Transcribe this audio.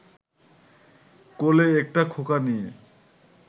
কোলে একটা খোকা নিয়ে